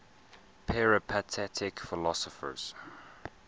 peripatetic philosophers